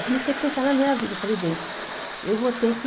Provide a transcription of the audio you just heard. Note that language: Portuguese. Aí, comecei a pensar na minha vida, falei, bem, eu vou ter que...